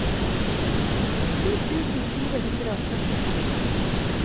ti tusen fire hundre og førtiseks